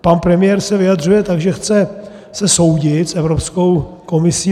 Pan premiér se vyjadřuje tak, že se chce soudit s Evropskou komisí.